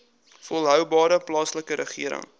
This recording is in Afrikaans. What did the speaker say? volhoubare plaaslike regering